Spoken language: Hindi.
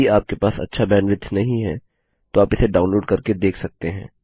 यदि आपके पास अच्छा बैंडविड्थ नहीं है तो आप इसे डाउनलोड करके देख सकते हैं